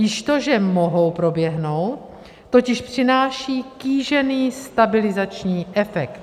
Již to, že mohou proběhnout, totiž přináší kýžený stabilizační efekt.